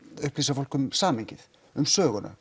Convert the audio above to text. upplýsa fólk um samhengið um söguna